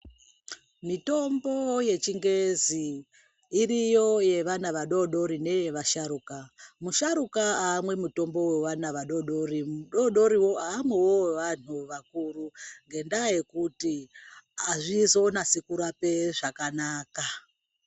Mitombo yechingezi, iriyo yevana vadodori neyevasharuka. Musharuka ayamwe mitombo wevana vadodori. Adodoriwo amwiwo wevanhu vakuru, ngendaba yekuti azvizonase kurape zvakanaka.